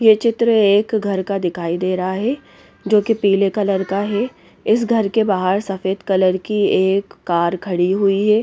ये चित्र एक घर का दिखाई दे रहा है जो कि पीले कलर का है इस घर के बाहर सफेद कलर की एक कार खड़ी हुई है।